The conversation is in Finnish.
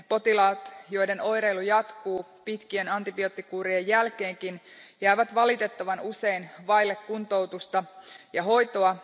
Potilaat, joiden oireilu jatkuu pitkien antibioottikuurien jälkeenkin, jäävät valitettavan usein vaille kuntoutusta ja hoitoa.